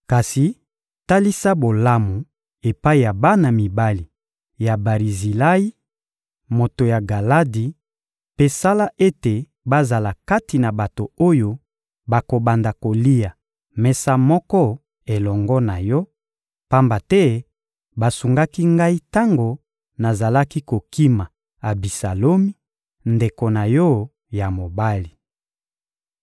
Kasi talisa bolamu epai ya bana mibali ya Barizilayi, moto ya Galadi; mpe sala ete bazala kati na bato oyo bakobanda kolia mesa moko elongo na yo, pamba te basungaki ngai tango nazalaki kokima Abisalomi, ndeko na yo ya mobali.